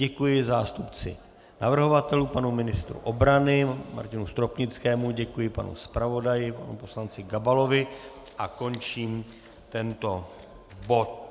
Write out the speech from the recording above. Děkuji zástupci navrhovatelů panu ministru obrany Martinu Stropnickému, děkuji panu zpravodaji poslanci Gabalovi a končím tento bod.